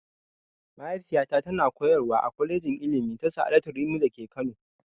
Mahaifiyata ta na koyarwa a kwalejin ilimi ta sa'adatu rimi da ke Kano